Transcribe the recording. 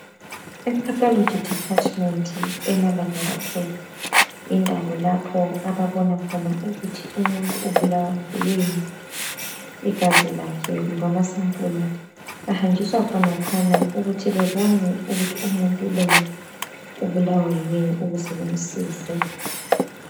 IPathology Department emalabhorethari yindawo lapho ababona khona ukuthi umuntu ubulawa yikuyini. Igazi lakhe kumbe amasampula ahanjiswa khonaphana ukuthi bebone ukuthi umuntu lo ubulawa yikuyini ukuze bemsize.